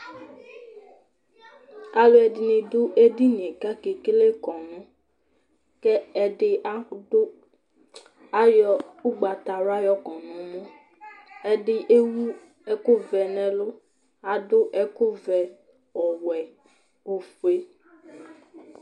alu ɛdini du edinie kake kele kɔnu, kɛ ɛdi adu, ayɔ ugbata wla yɔkɔ nuu, ɛdi ewu ɛku vɛ n'ɛlu , adu ɛku vɛ, ɔwɛ, ofue